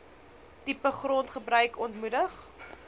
tipe grondgebruik ontmoedig